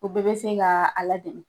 O bɛɛ bɛ se ka a ladege